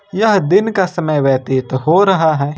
यह दिन का समय व्यतीत हो रहा है ।